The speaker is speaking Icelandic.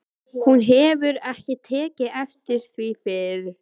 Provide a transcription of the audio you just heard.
Hún hefur ekki tekið eftir því fyrr.